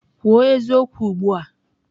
Kwuo eziokwu ugbu a!